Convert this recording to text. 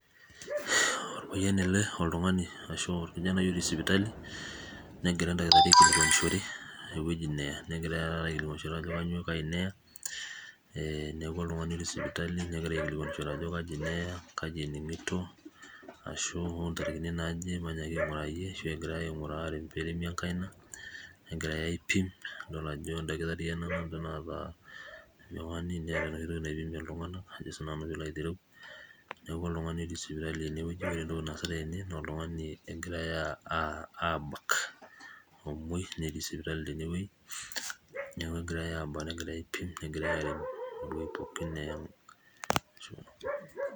Orpayian ele oltungani arashu orkijanai otii sipitali negira endakitarii aipotishore ninye egira ayiolou ajo kanyio kai neya neaku oltungani otii sipitali negira aikilikwanishore ajo kai neya, kaji eningoto arashu egirai ainguraa ,negirai aipim neeta enoshi toki naipimie ltunganak neaku oltungani otii sipitali na oltungani egirai abak omoi netii sipitali tenewoi negirai abak negirai aipim tenewueji pookin neya, Ashe ol' eng.